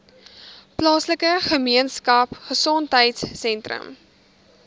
plaaslike gemeenskapgesondheid sentrum